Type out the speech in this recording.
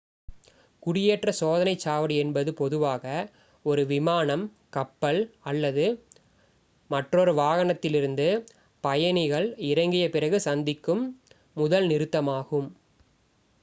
குடியேற்ற சோதனைச் சாவடி என்பது பொதுவாக ஒரு விமானம் கப்பல் அல்லது மற்றொரு வாகனத்திலிருந்து பயணிகள் இறங்கிய பிறகு சந்திக்கும் முதல் நிறுத்தமாகும்